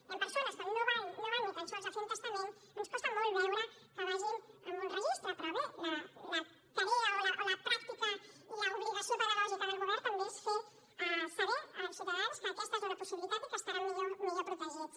hi han persones que no van ni tan sols a fer un testament ens costa molt veure que vagin a un registre però bé la tasca o la pràctica i l’obligació pedagògica del govern també és fer saber als ciutadans que aquesta és una possibilitat i que estaran més ben protegits